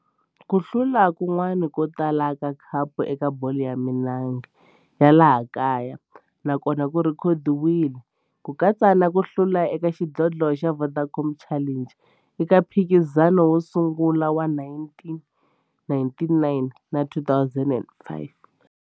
Ku hlula kun'wana ko tala ka khapu eka bolo ya milenge ya laha kaya na kona ku rhekhodiwile, ku katsa na ku hlula ka xidlodlo xa Vodacom Challenge eka mphikizano wo sungula wa 1999 na 2005.